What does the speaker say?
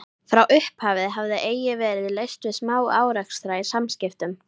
Frá upphafi hafði eigi verið laust við smá-árekstra í samskiptum